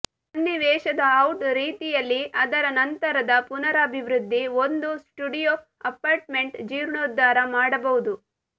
ಸನ್ನಿವೇಶದ ಔಟ್ ರೀತಿಯಲ್ಲಿ ಅದರ ನಂತರದ ಪುನರಾಭಿವೃದ್ಧಿ ಒಂದು ಸ್ಟುಡಿಯೊ ಅಪಾರ್ಟ್ಮೆಂಟ್ ಜೀರ್ಣೋದ್ಧಾರ ಮಾಡಬಹುದು